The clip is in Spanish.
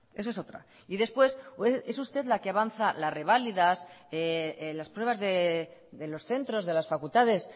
eso es otra y después es usted la que avanza las revalidas las pruebas de los centros de las facultades